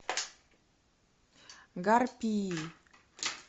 гарпии